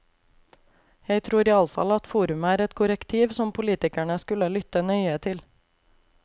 Jeg tror iallfall at forumet er et korrektiv som politikerne skulle lytte nøye til.